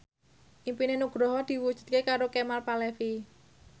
impine Nugroho diwujudke karo Kemal Palevi